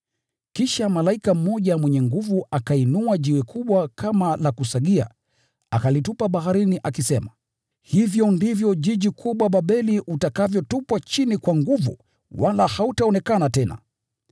Kisha malaika mmoja mwenye nguvu akainua jiwe kubwa kama la kusagia akalitupa baharini akisema: “Hivyo ndivyo mji mkubwa Babeli utakavyotupwa chini kwa nguvu wala hautaonekana tena.